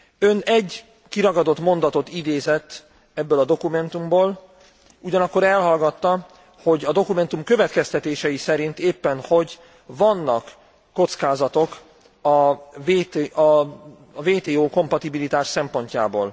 Ön egy kiragadott mondatot idézett ebből a dokumentumból, ugyanakkor elhallgatta, hogy a dokumentum következtetései szerint éppen hogy vannak kockázatok a WTO kompatibilitás szempontjából.